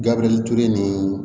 Gabirituru ni